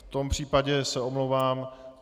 V tom případě se omlouvám.